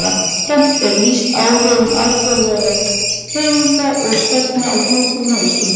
Jafnframt er lýst áhrifum alþjóðlegra hreyfinga og stefna á hjúkrun á Íslandi.